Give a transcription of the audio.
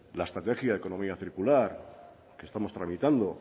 la estrategia de economía circular que estamos tramitando